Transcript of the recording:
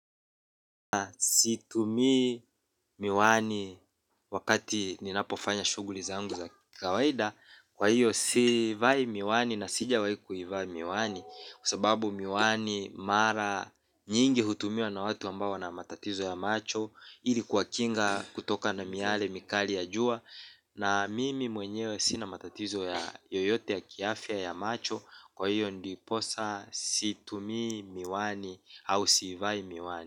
Situ mi miwani wakati ninapofanya shughuli za ngu za kikawaida. Kwa hiyo sivai miwani na sija wahiku iva miwani kwasababu miwani mara nyingi hutumiwa na watu ambao wana matatizo ya macho ili kuwa kinga kutoka na miyale mikali ya jua. Na mimi mwenyewe sina matatizo ya yoyote ya kiafya ya macho. Kwa hiyo ndiposa situmi miwani au sivai miwani.